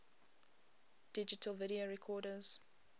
digital video recorders